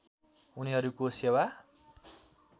उनीहरूको सेवा